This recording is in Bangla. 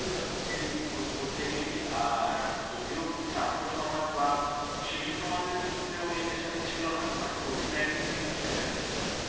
মানে চলে প্রত্যেকেরই। আর যদিও ছাত্র সমাজ বা শিশু সমাজের ক্ষেত্রেও এই নেশাটা ছিল না। কিন্তু but covid nineteen কিন্তু সেটাকে নিয়ে এসেছে।